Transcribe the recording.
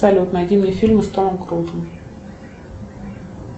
салют найди мне фильмы с томом крузом